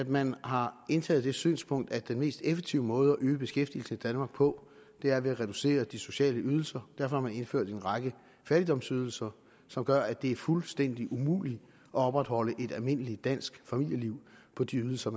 man har indtaget det synspunkt at den mest effektive måde at øge beskæftigelsen i danmark på er ved at reducere de sociale ydelser derfor har man indført en række fattigdomsydelser som gør at det er fuldstændig umuligt at opretholde et almindeligt dansk familieliv på de ydelser